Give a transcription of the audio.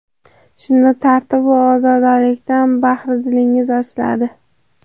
Shunda tartib va ozodalikdan bahri dilingiz ochiladi.